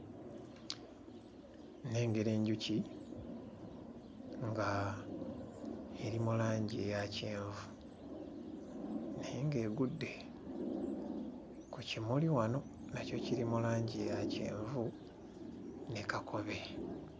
Nnengera enjuki nga eri mu langi eya kyenvu naye ng'egudde ku kimuli wano, nakyo kiri mu langi ya kyenvu ne kakobe.